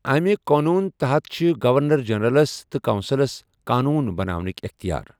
امہِ قانون تحت چھِ گورنر جنرلس تہٕ کونسلس قانون بناونٕکۍ اٮ۪ختیار۔